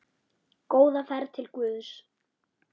Góða ferð til Guðs.